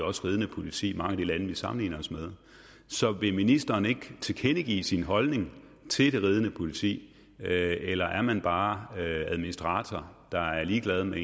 ridende politi i mange af de lande vi sammenligner os med så vil ministeren ikke tilkendegive sin holdning til det ridende politi eller er man bare administrator der er ligeglad med